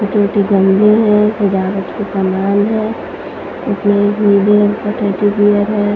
छोटे छोटे गमले हैं सजावट के समान है इसमें एक नीले रंग का टेडी बियर है।